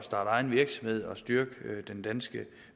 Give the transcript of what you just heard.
egen virksomhed og styrke den danske